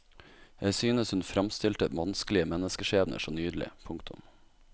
Jeg synes hun fremstilte vanskelige menneskeskjebner så nydelig. punktum